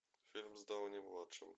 фильм с дауни младшим